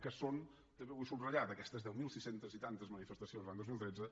que són i també ho vull subratllar d’aquestes deu mil sis cents i tantes manifestacions l’any dos mil tretze